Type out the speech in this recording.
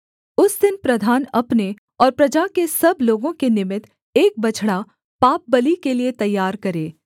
उस दिन प्रधान अपने और प्रजा के सब लोगों के निमित्त एक बछड़ा पापबलि के लिये तैयार करे